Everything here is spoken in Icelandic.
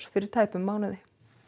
fyrir tæpum mánuði